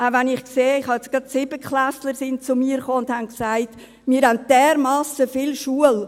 Auch wenn ich sehe ... gerade sind 7.-Klässler sind zu mir gekommen und haben gesagt: «Wir haben dermassen viel Schule.